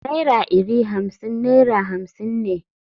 Naira iri Hamsin naira hamsin ne.